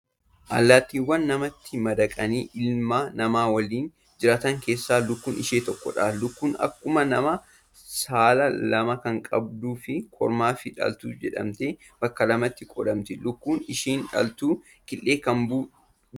Allaattiiwwan namatti madaqanii, ilma namaa waliin jiraatan keessaa, lukkuun ishee tokkodha. Lukkuun akkuma namaa saala lama kan qabduu fi kormaa fi dhaltuu jedhamtee bakka lamatti qoodamti. Lukkuun isheen dhaltuun killee kan dhaltudha.